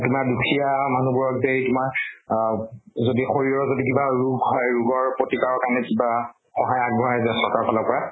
তোমাৰ দুখীয়া মানুহ বোৰক যে কিবা আব যদি শৰীৰৰ যদি কিবা ৰোগ হয়, ৰোগৰ প্ৰতিকাৰৰ কাৰণে কিবা সহায় আগ্ব্ঢ়ায় যে চৰকাৰৰ ফালৰ পৰা